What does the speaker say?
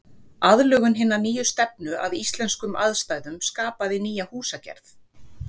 Aðlögun hinnar nýju stefnu að íslenskum aðstæðum skapaði nýja húsagerð.